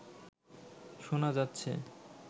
শোনা যাচ্ছে